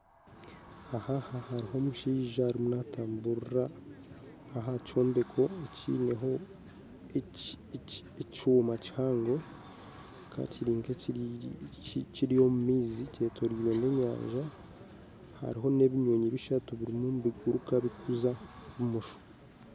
Aha hariho omushaija arimu natambuurira aha kyombeko ekineho ekyoma kihango kibaka kiri nk'ekiri omu maizi kyetoreire enyanja hariho n'ebinyonyi bishatu nibiguruuka kuza bumosho